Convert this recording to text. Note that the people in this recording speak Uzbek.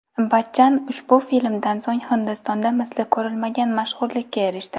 Bachchan ushbu filmdan so‘ng Hindistonda misli ko‘rilmagan mashhurlikka erishdi.